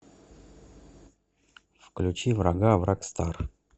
включи врага врагстар